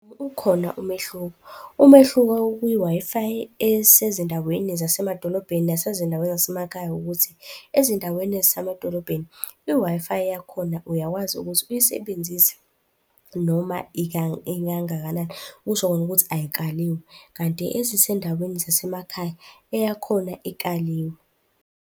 Ukhona umehluko. Umehluko okwi-Wi-Fi esezindaweni zasemadolobheni nesezindaweni zasemakhaya ukuthi, ezindaweni ezisemadolobheni i-Wi-Fi yakhona uyakwazi ukuthi uyisebenzise noma ikangakanani. Kusho kona ukuthi ayikaliwe, kanti ezisendaweni zasemakhaya eyakhona ikaliwe.